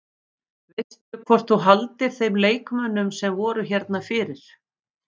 Veistu hvort þú haldir þeim leikmönnum sem voru hérna fyrir?